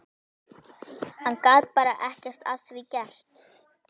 Hann gat bara ekkert að því gert.